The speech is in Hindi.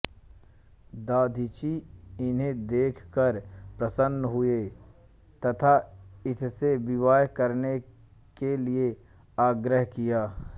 दधीचि इन्हें देखकर प्रसन्न हुए तथा इससे विवाह करने के लिए आग्रह किया